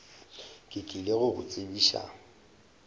ke tlile go go tsebiša